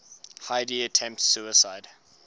heidi attempts suicide